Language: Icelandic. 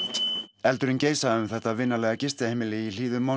eldurinn geisaði um þetta vinalega gistiheimili í hlíðum